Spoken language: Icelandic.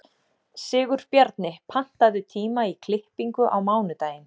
Sigurbjarni, pantaðu tíma í klippingu á mánudaginn.